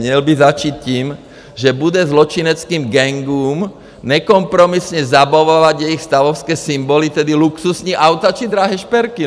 Měl by začít tím, že bude zločineckým gangům nekompromisně zabavovat jejich stavovské symboly, tedy luxusní auta či drahé šperky.